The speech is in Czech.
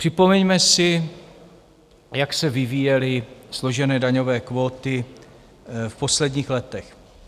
Připomeňme si, jak se vyvíjely složené daňové kvóty v posledních letech.